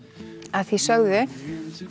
að því sögðu